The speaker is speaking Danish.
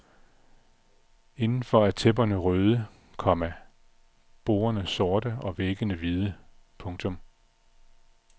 Indenfor er tæpperne røde, komma bordene sorte og væggene hvide. punktum